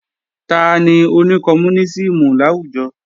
Tani oní kọmúnísìmù láwùjọ?